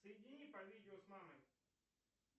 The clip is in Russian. соедини по видео с мамой